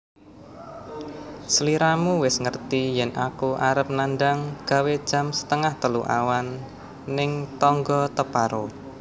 Sliramu wis ngerti yen aku arep nandang gawe jam setengah telu awan ning tonggo teparo